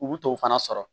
U b'u to o fana sɔrɔ